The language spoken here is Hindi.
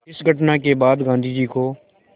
इस घटना के बाद गांधी को